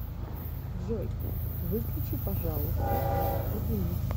джой выключи пожалуйста этот будильник